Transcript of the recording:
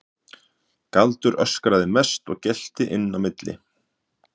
Galdur öskraði mest og gelti inn á milli.